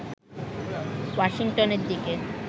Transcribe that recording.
ওয়াশিংটনের দিকে